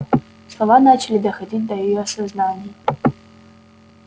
слова начали доходить до её сознания